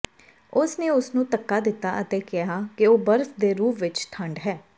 ਉਸ ਨੇ ਉਸਨੂੰ ਧੱਕਾ ਦਿੱਤਾ ਅਤੇ ਕਿਹਾ ਕਿ ਉਹ ਬਰਫ਼ ਦੇ ਰੂਪ ਵਿੱਚ ਠੰਢ ਹੈ